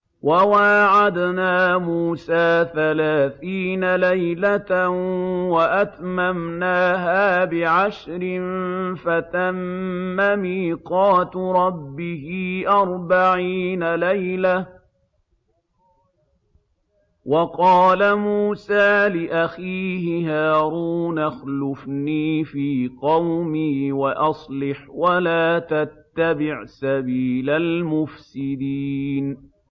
۞ وَوَاعَدْنَا مُوسَىٰ ثَلَاثِينَ لَيْلَةً وَأَتْمَمْنَاهَا بِعَشْرٍ فَتَمَّ مِيقَاتُ رَبِّهِ أَرْبَعِينَ لَيْلَةً ۚ وَقَالَ مُوسَىٰ لِأَخِيهِ هَارُونَ اخْلُفْنِي فِي قَوْمِي وَأَصْلِحْ وَلَا تَتَّبِعْ سَبِيلَ الْمُفْسِدِينَ